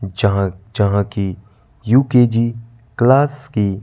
जहां जहां की यू_के_जी क्लास की--